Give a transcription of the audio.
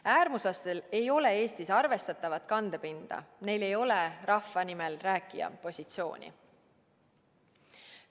Äärmuslastel ei ole Eestis arvestatavat kandepinda, neil ei ole rahva nimel rääkija positsiooni.